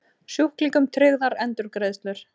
Sjúklingum tryggðar endurgreiðslur